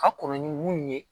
Ka kɔn ni mun ye